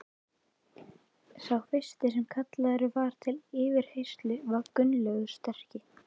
Sá fyrsti sem kallaður var til yfirheyrslu var Gunnlaugur sterki.